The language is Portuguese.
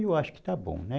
Eu acho que está bom, né?